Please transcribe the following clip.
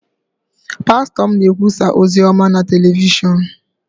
pastọ m na-ekwusa ozi ọma na telivishọn